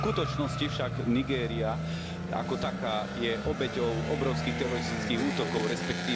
V skutočnosti však Nigéria ako taká je obeťou obrovských teroristických útokov, resp.